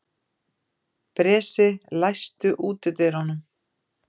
Bresi, læstu útidyrunum.